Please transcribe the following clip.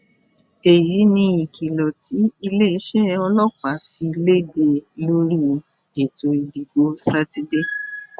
èyí ni ìkìlọ tí iléeṣẹ́ ọlọ́pàá fi léde lórí ètò ìdìbò sátidé